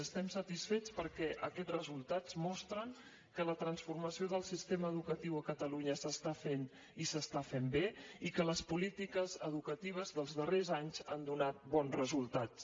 estem satisfets perquè aquests resultats mostren que la transformació del sistema educatiu a catalunya s’està fent i s’està fent bé i que les polítiques educatives dels darrers anys han donat bons resultats